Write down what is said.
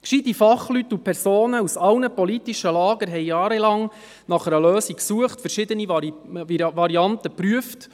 Gescheite Fachleute und Personen aus allen politischen Lagern suchten jahrelang nach einer Lösung, prüften und wogen verschiedene Varianten gegeneinander ab.